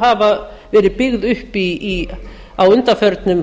hafa verið byggð upp á undanförnum